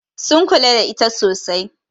Sun kula da ita sosai.